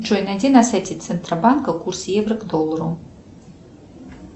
джой найди на сайте центробанка курс евро к доллару